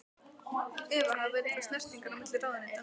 Eva: Hafa verið einhverjar snertingar á milli ráðuneytanna?